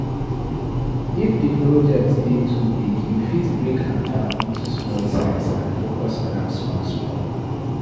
If di project dey too big, you fit break am down into small size and focus on am small small